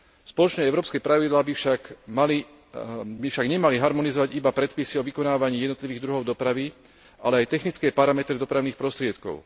Spoločné európske pravidlá by však nemali harmonizovať iba predpisy o vykonávaní jednotlivých druhov dopravy, ale aj technické parametre dopravných prostriedkov.